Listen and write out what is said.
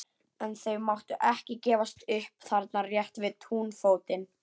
En þau máttu ekki gefast upp þarna rétt við túnfótinn.